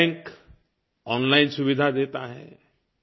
हर bank online सुविधा देता है